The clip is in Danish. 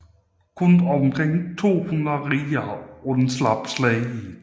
Kun omkring 200 riddere undslap slaget